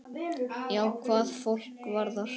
Já, hvað fólk varðar.